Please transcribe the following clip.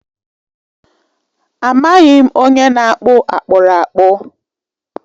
Amaghị m onye na-akpụ akpụrakpụ.